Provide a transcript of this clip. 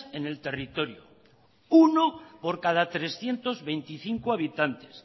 en el territorio uno por cada trescientos veinticinco habitantes